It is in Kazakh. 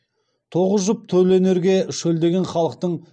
тоғыз жұп төл өнерге шөлдеген халықтың